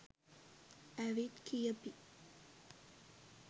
ඇවිත් කියපි